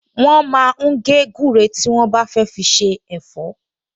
Wọ́n máa ń gé gúre tí wọ́n bá fẹ́ fi se ẹ̀fọ́